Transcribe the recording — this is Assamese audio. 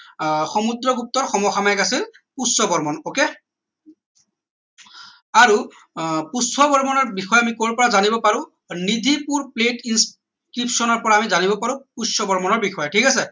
আহ সমুদ্ৰগুপ্তৰ সম সাময়িক আছিল পুষ্য বৰ্মন ok আৰু আহ পুষ্য বৰ্মনৰ বিষয়ে আমি কৰ পৰা জানিব পাৰো নিদ্ধিপুৰ institution ৰ পৰা আমি জানিব পাৰো পুষ্য বৰ্মনৰ বিষয়ে ঠিক আছে